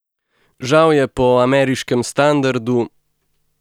Žal je po ameriškem standardu ...